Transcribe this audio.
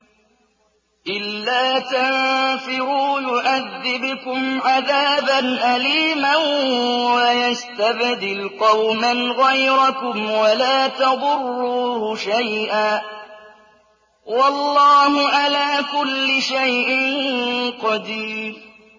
إِلَّا تَنفِرُوا يُعَذِّبْكُمْ عَذَابًا أَلِيمًا وَيَسْتَبْدِلْ قَوْمًا غَيْرَكُمْ وَلَا تَضُرُّوهُ شَيْئًا ۗ وَاللَّهُ عَلَىٰ كُلِّ شَيْءٍ قَدِيرٌ